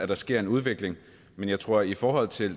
der sker en udvikling men jeg tror i forhold til